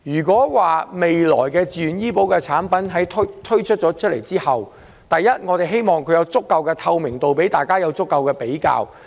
我希望未來自願醫保產品推出後，能有足夠透明度，供公眾進行比較。